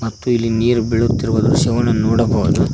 ಮತ್ತು ಇಲ್ಲಿ ನೀರು ಬೀಳುತ್ತಿರುವ ದೃಶ್ಯವನ್ನು ನೋಡಬಹುದು.